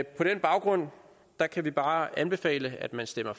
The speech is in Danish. på den baggrund kan vi bare anbefale at man stemmer